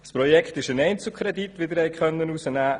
Beim Projekt handelt es sich um einen Einzelkredit.